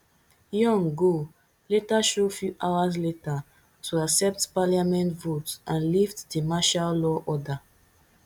yoon go later show few hours later to accept parliament vote and lift di martial law order